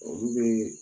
Olu bɛ